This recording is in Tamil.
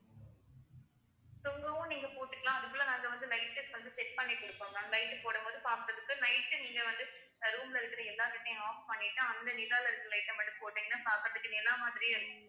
தொங்கவும் நீங்க போட்டுக்கலாம் அதுக்குள்ள நாங்க வந்து light test வந்து set பண்ணிட்டு இருக்கோம் ma'am light போடும் போது பார்ப்பதற்கு night நீங்க வந்து room ல இருக்குற எல்லா light யும் off பண்ணிட்டு அந்த நிலாவுல இருக்குற light அ மட்டும் போட்டீங்கன்னா பாக்கறதுக்கு நிலா மாதிரியே இருக்கும்